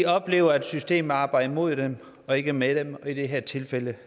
oplever at systemet arbejder mod dem og ikke med dem og i det her tilfælde